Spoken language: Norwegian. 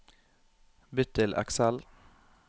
Bytt til Excel